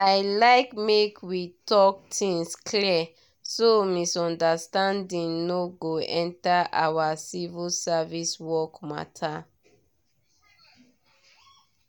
i like make we talk things clear so misunderstanding no go enter our civil service work matter.